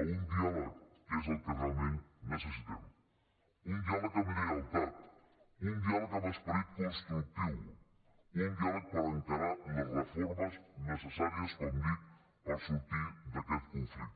a un diàleg que és el que realment necessitem un dià·leg amb lleialtat un diàleg amb esperit constructiu un diàleg per encarar les reformes necessàries com dic per sortir d’aquest conflicte